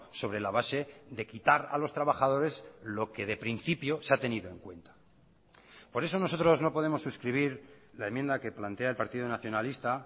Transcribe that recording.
sobre la base de quitar a los trabajadores lo que de principio se ha tenido en cuenta por eso nosotros no podemos suscribir la enmienda que plantea el partido nacionalista